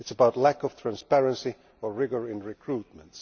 it is about lack of transparency and rigour in recruitment.